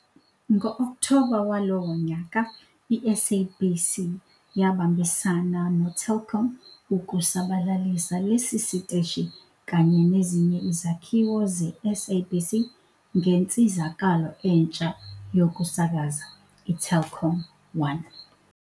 Ngo-Okthoba walowo nyaka, iSABC yabambisana noTelkom ukusabalalisa lesi siteshi kanye nezinye izakhiwo zeSABC ngensizakalo entsha yokusakaza, iTelkomOne.